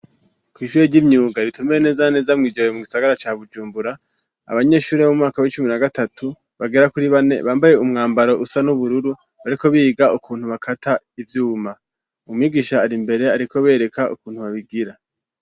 Kw'ishure ry'imyuga ritumbereye neza na neza mu gisagara ca bujumbura abanyeshure b'imwaka w'icumi na gatatu bagera kuri bane bambaye umwambaro usa n'ubururu bariko biga ukuntu bakata ivyuma umwigisha ari imbere ariko bereka ukuntu babigira.